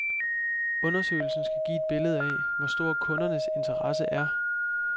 Undersøgelsen skal give et billede af, hvor stor kundernes interesse er.